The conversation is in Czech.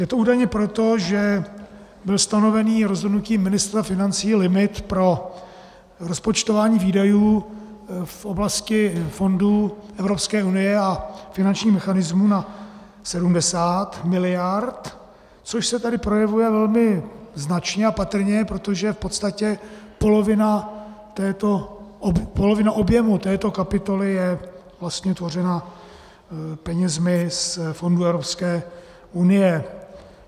Je to údajně proto, že byl stanoven rozhodnutím ministra financí limit pro rozpočtování výdajů v oblasti fondů Evropské unie a finančních mechanismů na 70 miliard, což se tady projevuje velmi značně a patrně, protože v podstatě polovina objemu této kapitoly je vlastně tvořena penězi z fondů Evropské unie.